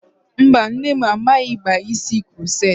Mba, nne m amaghị akpa isi kuroceti.